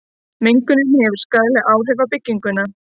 mengunin hefur skaðleg áhrif á bygginguna